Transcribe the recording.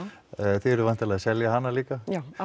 þið eruð væntanlega að selja hana líka já á